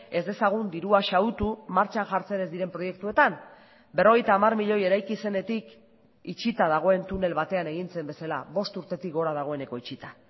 ez dezagun dirua xahutu martxan jartzen ez diren proiektuetan berrogeita hamar milioi eraiki zenetik itxita dagoen tunel batean egin zen bezala bost urtetik gora dagoeneko itxita